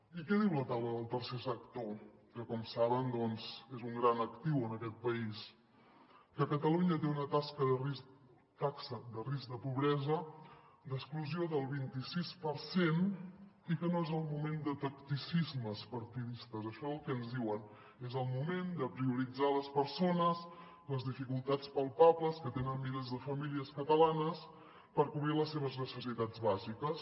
i què diu la taula del tercer sector que com saben és un gran actiu en aquest país que catalunya té una taxa de risc de pobresa d’exclusió del vint i sis per cent i que no és el moment de tacticismes partidistes això és el que ens diuen és el moment de prioritzar les persones les dificultats palpables que tenen milers de famílies catalanes per cobrir les seves necessitats bàsiques